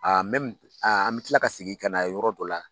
an me kila ka segi ka na yɔrɔ dɔ la,